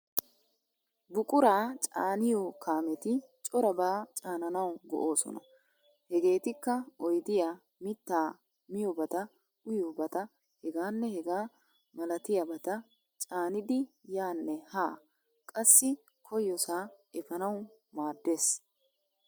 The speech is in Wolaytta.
Buquraa caaniyoo kaameti corabaa caananawu go'oosona. Hegeetikka oydiyaa, mittaa, miyoobata, uyiyoobata hegaanne hegaa malatiyabata caanidi yaanne haa qassi koyyosaa efanawu maaddees?